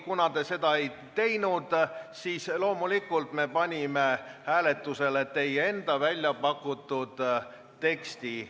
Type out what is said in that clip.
Kuna te seda ei teinud, siis loomulikult me panime hääletusele teie enda väljapakutud teksti.